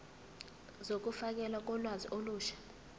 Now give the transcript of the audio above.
zokufakelwa kolwazi olusha